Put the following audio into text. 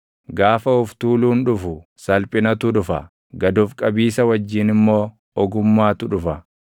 Gaafa of tuuluun dhufu, salphinatu dhufa; gad of qabiisa wajjin immoo ogummaatu dhufa.